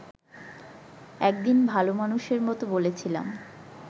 একদিন ভাল মানুষের মত বলেছিলাম